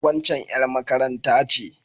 Waccan ƴar makaranta ce.